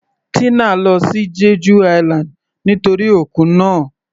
Tina lọ sí Jeju island nítorí òkun náà.